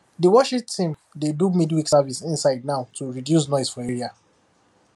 the worship team dey do midweek service inside now to reduce noise for area